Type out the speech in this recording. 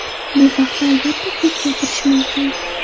Bu haqda albatta ko‘p gapirish mumkin.